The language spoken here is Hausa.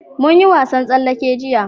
mun yi wasan tsallake igiya